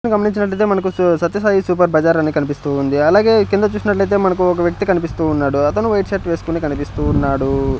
గమనించినటైతే మనకు Sathya Sai super bazaar అని కనిపిస్తూ వుంది అలాగే ఈ కింద చూసినటైతే మనకు ఒక వ్యక్తి కనిపిస్తూ వున్నాడు అతను వైట్ షర్ట్ వేసుకొని కనిపిస్తూ ఉన్నాడు.